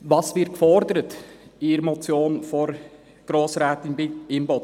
Was wird in der Motion von Grossrätin Imboden gefordert?